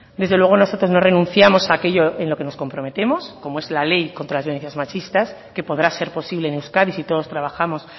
desde luego nosotros no renunciamos a aquello en lo que nos comprometemos como es la ley contra las violencias machistas que podrá ser posible en euskadi si todos trabajamos